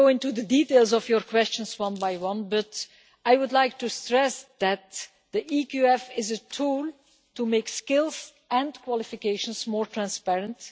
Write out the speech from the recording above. not go into the details of your questions one by one, but I would like to stress that the EQF is a tool to make skills and qualifications more transparent.